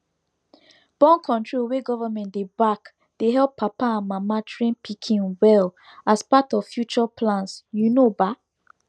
borncontrol wey government dey backdey help papa and mama train pikin well as part of future plans you know baa